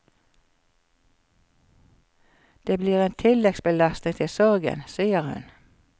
Det blir en tilleggsbelastning til sorgen, sier hun.